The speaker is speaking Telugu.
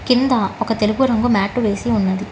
కింద ఒక తెలుగు రంగు మ్యాట్ వేసి ఉన్నది.